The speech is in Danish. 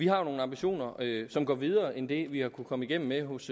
har nogle ambitioner som går videre end det vi har kunnet komme igennem med hos